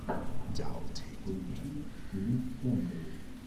поищи фильм кэндэли